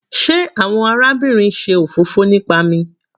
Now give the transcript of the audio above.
Sé àwọn arábìnrin ṣe òfófó nipa mi?